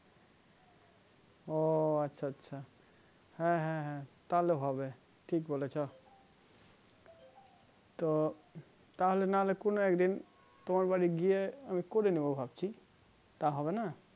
ও আচ্ছা আচ্ছা হ্যাঁ হ্যাঁ হ্যাঁ তাহলে হবে ঠিক বলেছো তো তাহলে নাহলে কোনো একদিন তোমার বাড়ি গিয়ে আমি করে নিবো ভাবছি তা হবেনা?